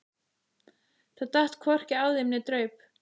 Það datt hvorki af þeim né draup.